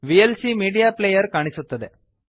VLC media player ಕಾಣಿಸುತ್ತದೆ